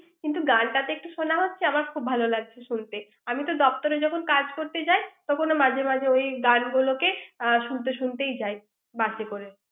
কিন্তু গানটা তো একটু শোনা হচ্ছে আমার খুব ভালো লাগছে শুনতে আমি যখন দপ্তরে কাজ করতে যাই তখনো মাঝে মাঝে ওই গান গানগুলোকে শুনতে শুনতে যাই বাসে করে।